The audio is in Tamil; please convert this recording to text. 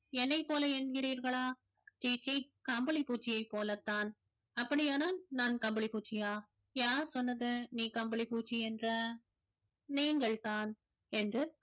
என்னைப் போல என்கிறீர்களா சீச்சீ கம்பளிப்பூச்சியைப் போலத்தான் அப்படியானால் நான் கம்பளிப்பூச்சியா யார் சொன்னது நீ கம்பளிப்பூச்சி என்று நீங்கள்தான் என்று